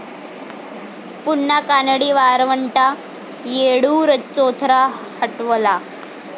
पुन्हा कानडी वरवंटा, येळ्ळूर चौथरा हटवला